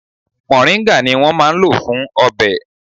Mòríńgà ni wón máa ń lò fún ọbẹ̀.